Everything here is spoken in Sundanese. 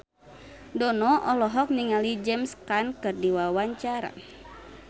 Dono olohok ningali James Caan keur diwawancara